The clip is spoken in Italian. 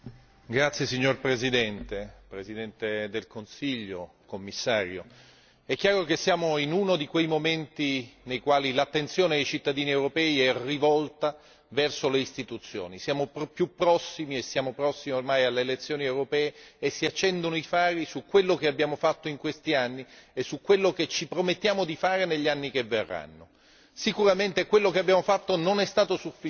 Signor Presidente, Presidente del Consiglio, Commissario, onorevoli colleghi, è chiaro che siamo in uno di quei momenti nei quali l'attenzione dei cittadini europei è rivolta verso le istituzioni siamo più prossimi e siamo prossimi ormai alle elezioni europee e si accendono i fari su quello che abbiamo fatto in questi anni e su quello che ci promettiamo di fare negli anni che verranno. Sicuramente quello che abbiamo fatto non è stato sufficiente,